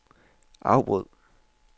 afbryd